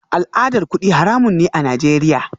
Al'adar kudi haramun ne a Najeriya